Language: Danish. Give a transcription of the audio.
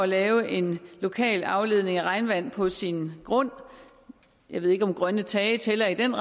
lave en lokal afledning af regnvand på sin grund jeg ved ikke om grønne tage tæller i den